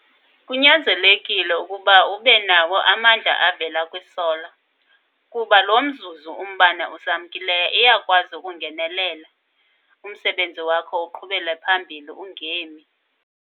Kunyanzelekile ukuba ube nawo amandla avela kwisola. Kuba lo mzuzu umbane usamkileyo iyakwazi ukungenelela, umsebenzi wakho uqhubele phambili ungemi.